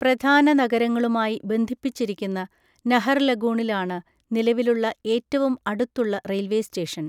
പ്രധാന നഗരങ്ങളുമായി ബന്ധിപ്പിച്ചിരിക്കുന്ന നഹർലഗൂണിലാണ് നിലവിലുള്ള ഏറ്റവും അടുത്തുള്ള റെയിൽവേ സ്റ്റേഷൻ.